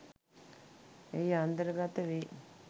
එහි අන්තර්ගත වෙයි.